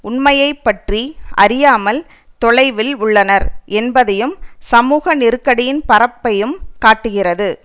உண்மையை பற்றி அறியாமல் தொலைவில் உள்ளனர் என்பதையும் சமூக நெருக்கடியின் பரப்பையும் காட்டுகிறது